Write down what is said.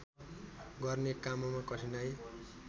गर्ने काममा कठिनाइ